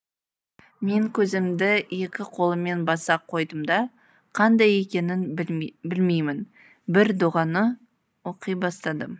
мен көзімді екі қолыммен баса қойдым да қандай екенін білмеймін бір дұғаны оқи бастадым